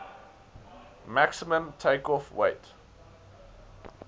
maximum takeoff weight